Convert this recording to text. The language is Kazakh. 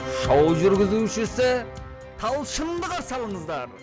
шоу жүргізушісі талшынды қарсы алыңыздар